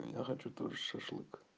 я хочу тоже шашлык